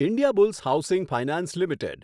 Indiabulls housing finance limited